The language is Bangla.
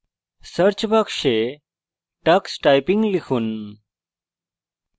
search search box tux typing লিখুন